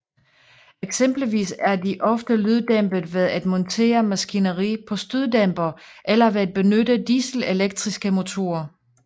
Eksempelvis er de ofte lyddæmpet ved at montere maskineri på støddæmpere eller ved at benytte dieselelektriske motorer